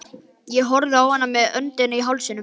Ég horfði á hana með öndina í hálsinum.